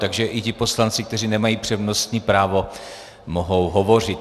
Takže i ti poslanci, kteří nemají přednostní právo, mohou hovořit.